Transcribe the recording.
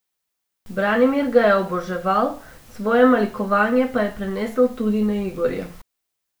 Branimir ga je oboževal, svoje malikovanje pa je prenesel tudi na Igorja.